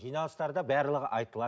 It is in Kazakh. жиналыстарда барлығы айтылады